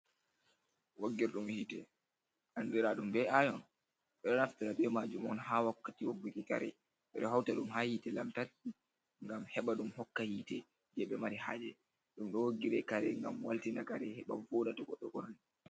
Woggirɗum hite andira ɗum be ayon, ɓeɗo naftira be majum on ha wakkati wogguki kare hauta ɗum ha hite lamtarki ngam henɓa ɗum hokka hite je ɓe mari haje ɗum ɗo woggire kare ngam waltina kare heɓa fuɗa to goɗɗo ɓorni.